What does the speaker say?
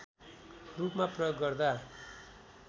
रूपमा प्रयोग गर्दा